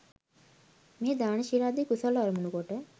මෙහි දාන ශීලාදි කුසල් අරමුණු කොට